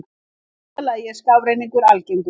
Í fyrsta lagi er skafrenningur algengur.